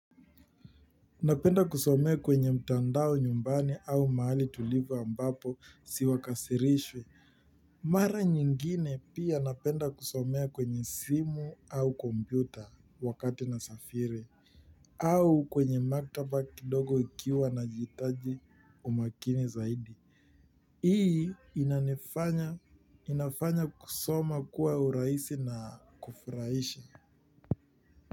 Napenda kusomea kwenye mtandao nyumbani au mahali tulivu ambapo siwakasirishi. Mara nyingine pia napenda kusomea kwenye simu au kompyuta wakati nasafiri. Au kwenye maktaba kidogo ikiwa nahitaji umakini zaidi. Hii inafanya kusoma kuwa urahisi na kufurahisha.